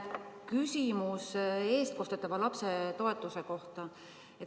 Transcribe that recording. Küsimus eestkostetava lapse toetuse kohta.